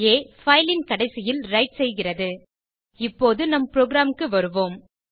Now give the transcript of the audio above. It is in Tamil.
ஆ - பைல் ன் கடைசியில் விரைட் செய்கிறது இப்போது நம் புரோகிராம் க்கு வருவோம்